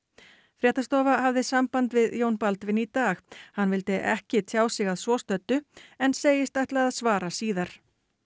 fréttastofa hafði samband við Jón Baldvin í dag hann vildi ekki tjá sig að svo stöddu en segist ætla að svara síðar